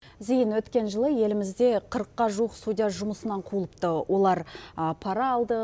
зейін өткен жылы елімізде қырыққа жуық судья жұмысынан қуылыпты олар пара алды